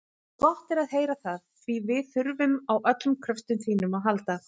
Gott er að heyra það, því við þurfum á öllum kröftum þínum að halda.